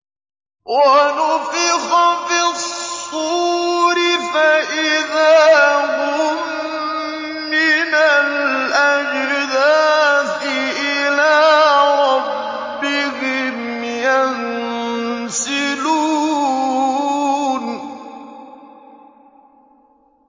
وَنُفِخَ فِي الصُّورِ فَإِذَا هُم مِّنَ الْأَجْدَاثِ إِلَىٰ رَبِّهِمْ يَنسِلُونَ